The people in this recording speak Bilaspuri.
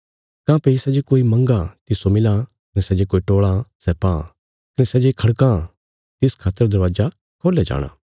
काँह्भई सै जे कोई मंगां तिस्सो मिलां कने सै जे टोल़ां सै पां कने सै जे खड़कां तिस खातर दरवाजा खोल्या जाणा